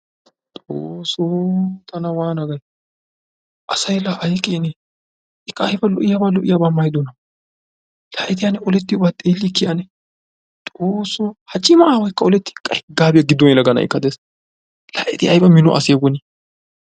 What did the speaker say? Xoossoo tana waana gayi! Asayi la ayi keenee ikka la ayba lo"iyaba lo"iyaba maayidonaa. La eti olettiyobaa xeellikkii ane. Xoossoo ha cima aawaykka olettii hegaabiya giddon yelaga na"aykka de"es. La eti ayba mino asee woni